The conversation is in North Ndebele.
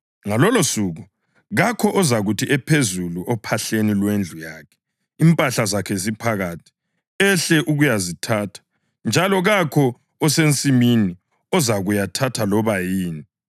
Ngalolosuku kakho ozakuthi ephezulu ophahleni lwendlu yakhe, impahla zakhe ziphakathi, ehle ukuyazithatha. Njalo kakho osensimini ozakuyathatha loba yini.